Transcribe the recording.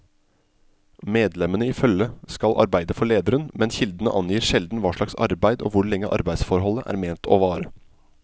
Medlemmene i følget skal arbeide for lederen, men kildene angir sjelden hva slags arbeid og hvor lenge arbeidsforholdet er ment å vare.